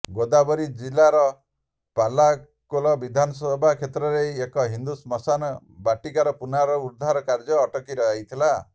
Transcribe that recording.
ଗୋଦାବରୀ ଜିଲାର ପାଲାକୋଲେ ବିଧାନସଭା କ୍ଷେତ୍ରରେ ଏକ ହିନ୍ଦୁ ଶ୍ମଶାନ ବାଟିକାର ପୁନରୁଦ୍ଧାର କାର୍ଯ୍ୟ ଅଟକି ଯାଇଥିଲା